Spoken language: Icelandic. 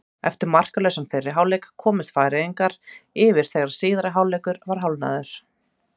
Eftir markalausan fyrri hálfleik komust Færeyingarnir yfir þegar síðari hálfleikur var hálfnaður.